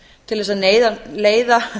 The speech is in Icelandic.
til þess að neyða leiða